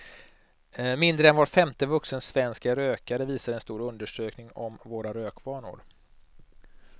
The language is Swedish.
Mindre än var femte vuxen svensk är rökare, visar en stor undersökning om våra rökvanor.